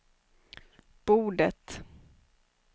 bordet